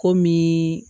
Komi